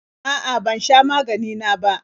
A'a, ban sha maganina ba.